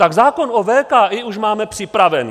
Tak zákon o VKI už máme připravený.